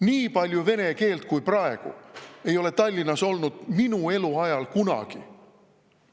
Nii palju vene keelt kui praegu ei ole Tallinnas minu eluajal kunagi olnud.